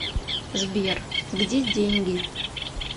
сбер где деньги